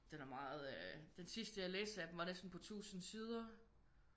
Den er meget øh den sidste jeg læste af dem var næsten på 1000 sider